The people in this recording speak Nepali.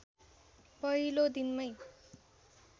पहिलो दिनमै